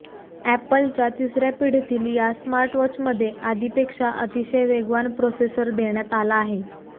अॅपलच्या तिसर्या पिढीतील या स्मार्टवॉचमध्ये आधीपेक्षा अतिशय वेगवान प्रोसेसर देण्यात आला आहे